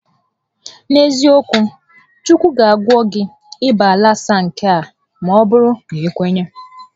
N'eziokwu, Chukwu ga agwọnwu gị ịba lasa nke a maọbụrụ na i kwenye